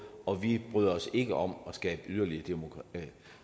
og vi bryder os ikke om at skabe yderligere